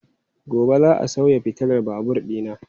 Gobe ​​za a sauya fitilar babur dina.